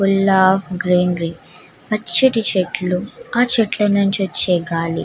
Full of greenery పచ్చని చెట్లు ఆ చెట్ల నుంచి వచ్చే గాలి.